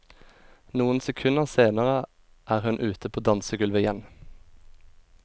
Noen sekunder senere er hun ute på dansegulvet igjen.